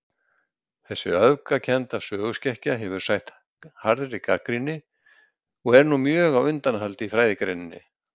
Þessi öfgakennda söguskekkja hefur sætt harðri gagnrýni., og er nú mjög á undanhaldi í fræðigreininni.